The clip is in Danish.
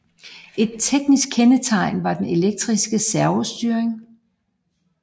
Et teknisk kendetegn var den elektriske servostyring